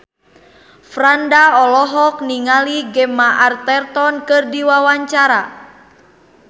Franda olohok ningali Gemma Arterton keur diwawancara